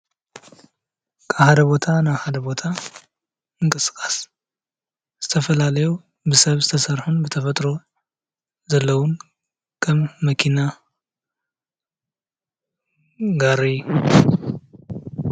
ካብ ሓደ ቦታ ናብ ሓደ ቦታ ምንቅስቃስ ዝተፈላለዩ ብሰብ ዝተሰረሑ ብተፈጥሮ ዘለዉ ከም መኪናን ጋሪን.